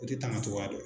O de taamacogoya dɔ